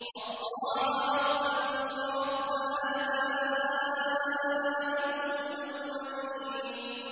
اللَّهَ رَبَّكُمْ وَرَبَّ آبَائِكُمُ الْأَوَّلِينَ